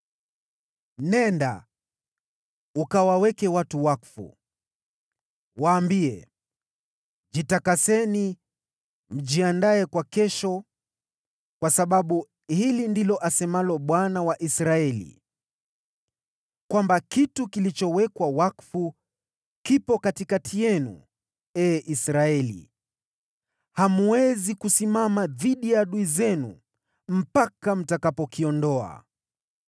“Nenda, ukawatakase watu. Waambie, ‘Jitakaseni mjiandae kwa kesho; kwa sababu hili ndilo asemalo Bwana , Mungu wa Israeli: Kitu kilichowekwa wakfu kipo katikati yenu, ee Israeli. Hamwezi kusimama dhidi ya adui zenu mpaka mtakapokiondoa.